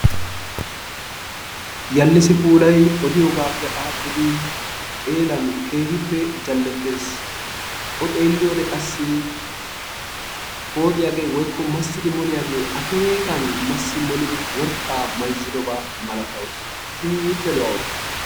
Yalisi puulay odiyoogaappe adhdhidi xeelan keehiippe jalettees. O xeeliyode qassi pooxxiyaagee woykko masidi moliyagee akkekan masi molidi worqqaa mayzzidobaa malatawusu kehiippe lo'awusu.